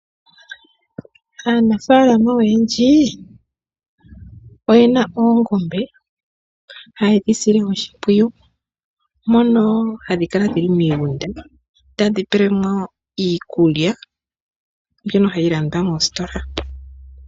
Aanafaalama oyendji oyena oongombe hayedhi sile oshimpwiyu, mono hadhi kala dhili miigunda tadhi pelwamo iikulya mbyono hayi landwa moositola.